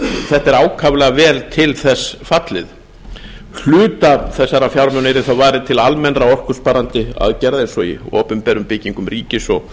þetta er ákaflega vel til þess fallið hluta þessara fjármuna yrði þó varið til almennra orkusparandi aðgerða eins og í opinberum byggingum ríkis og